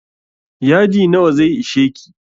Yadi nawa zai isheki?